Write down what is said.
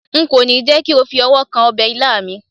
nko ni je ko fi ọwọ kan obe ilá mi